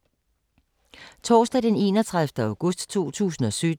Torsdag d. 31. august 2017